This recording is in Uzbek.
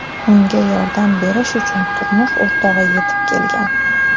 Unga yordam berish uchun turmush o‘rtog‘i yetib kelgan.